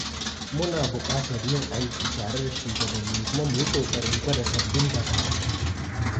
Muna buƙatar yin aiki tare da shugabanni kuma mu yi ƙoƙarin gwada sabbin dabaru.